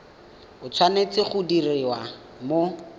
e tshwanetse go diriwa mo